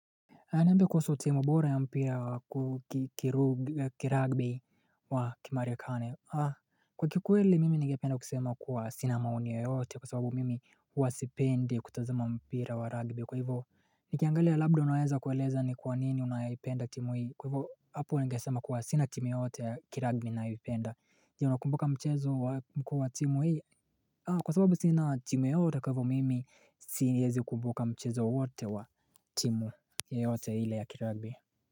Aya niambie kuhusu timu bora ya mpira wa kiragbi wa kimarekani. Kwa kikweli mimi ningependa kusema kuwa sina maoni yoyote kwa sababu mimi huwa sipendi kutazama mpira wa ragbi. Kwa hivo, nikiangalia labda unaweza kueleza ni kwa nini unaipenda timu hii. Kwa hivo, hapo ningesema kuwa sina timu yoyote ya kiragbi ninayoipenda. Je, unakumbuka mchezo wa mkuu wa timu hii? Kwa sababu sina timu yoyote kwa hivo mimi, siezi kumbuka mchezo wowote wa timu yoyote ile ya kiragbi.